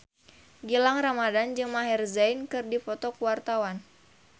Gilang Ramadan jeung Maher Zein keur dipoto ku wartawan